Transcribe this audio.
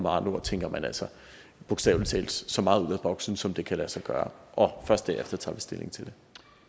andre ord tænker man altså bogstavelig talt så meget ud af boksen som det kan lade sig gøre og først derefter tager vi stilling til